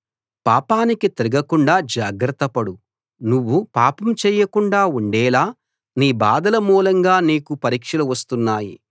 పాపానికి తిరగకుండా జాగ్రత్తపడు నువ్వు పాపం చెయ్యకుండా ఉండేలా నీ బాధల మూలంగా నీకు పరీక్షలు వస్తున్నాయి